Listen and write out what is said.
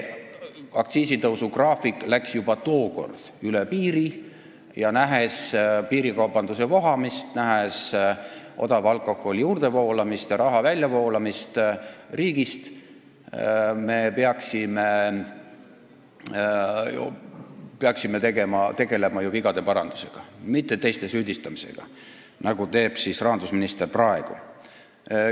Aktsiisitõusu graafik läks juba siis üle piiri ja nähes nüüd piirikaubanduse vohamist, nähes odava alkoholi juurdevoolamist ja raha väljavoolamist riigist, peaksime tegelema vigade parandusega, mitte teiste süüdistamisega, nagu teeb rahandusminister praegu.